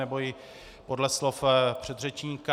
Nebo i podle slov předřečníka.